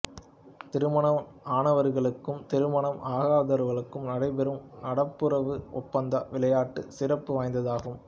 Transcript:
திருமணம் ஆனவர்களுக்கும் திருமணம் ஆகாதவர்களுக்கும் நடைபெறும் நட்புறவு ஓணப்பந்து விளையாட்டும் சிறப்பு வாய்ந்ததாகும்